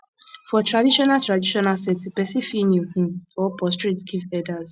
for traditional traditional setting person fit kneel um or prostrate give elders